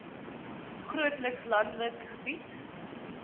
grootliks landelike gebied